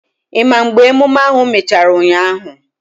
Ị ma mgbe emume ahụ mechara ụnyaahụ?